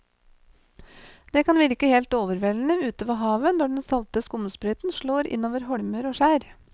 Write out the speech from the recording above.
Det kan virke helt overveldende ute ved havet når den salte skumsprøyten slår innover holmer og skjær.